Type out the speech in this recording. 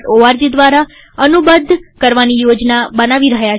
org દ્વારા અનુબદ્ધ કરવાની યોજના બનાવી રહ્યા છીએ